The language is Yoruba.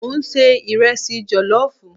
Mo n se iresi jellof